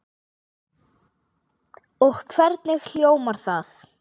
Og hvernig hljómar það?